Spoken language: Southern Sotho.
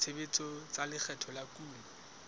tshebetso tsa lekgetho la kuno